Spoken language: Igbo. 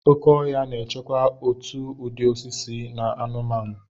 Oke ọhịa na-echekwa òtù ụdị osisi na anụmanụ.